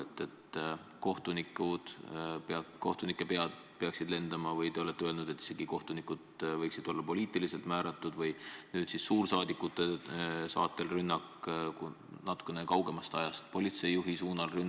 Te olete öelnud, et kohtunike pead peaksid lendama ja et isegi kohtunikud võiksid olla poliitiliselt määratletud, samuti rünnak suursaadikute vastu, natukene kaugemast ajast rünnak politsei juhi vastu.